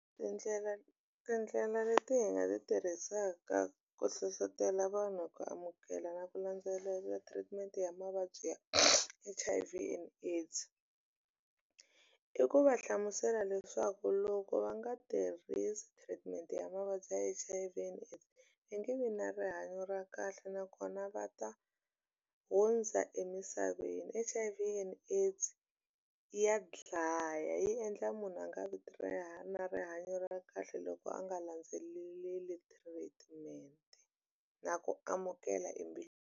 Tindlela tindlela leti hi nga ti tirhisaka ku hlohlotelo vanhu ku amukela na ku landzelela treatment ya mavabyi ya H_I_V and AIDS i ku va hlamusela leswaku loko va nga tirhisi treatment ya mavabyi ya H_I_V and i nge vi na rihanyo ra kahle nakona va ta hundza emisaveni H_I_V and AIDS ya dlaya yi endla munhu a nga vito ra ya na rihanyo ra kahle loko a nga landzeleli treatment na ku amukela .